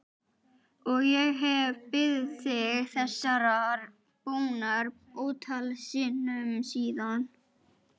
Og ég hef beðið þig þessarar bónar ótal sinnum síðan.